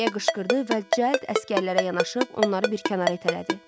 deyə qışqırdı və cəld əsgərlərə yanaşıb onları bir kənara itələdi.